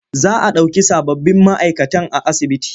Za a ɗauki sababbin ma'aikatan a asibitin.